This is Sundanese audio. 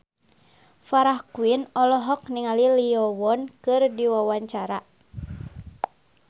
Farah Quinn olohok ningali Lee Yo Won keur diwawancara